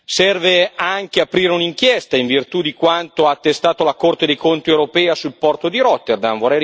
Serve anche aprire un'inchiesta in virtù di quanto ha attestato la Corte dei conti europea sul porto di Rotterdam